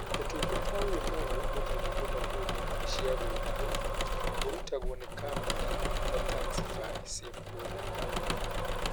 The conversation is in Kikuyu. Ũtungata ũyũ mwerũ, wĩtagwo bodaboda cia gũĩtwo. ũrutagwo nĩ kambuni ta Taxify, Safeboda, na Uber.